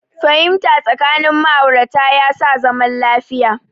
Fahimta tsakanin ma'aurata ya sa zaman lafiya